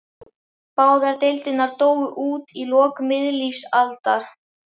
Báðar deildirnar dóu út í lok miðlífsaldar.